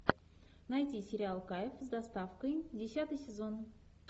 найти сериал кайф с доставкой десятый сезон